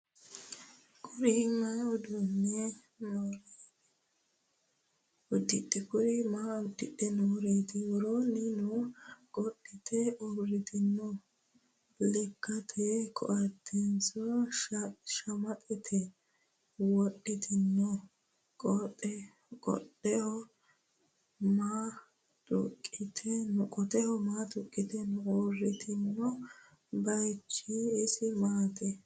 Kuri maa udidhe nooreetti? Woroonni maa qodhitte uurittinno? Lekkatte koattenso shamaxxe wodhittinno? Qotteho maa tuqiitte noo? Uurittinno bayiichchi isi maatti?